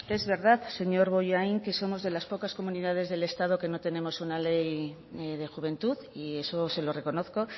es verdad señor bollain que somos de las pocas comunidades del estado que no tenemos una ley de juventud y eso se lo reconozco